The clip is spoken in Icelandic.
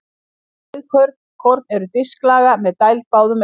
Rauðkorn eru disklaga með dæld báðum megin.